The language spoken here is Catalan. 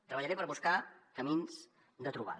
treballaré per buscar camins de trobada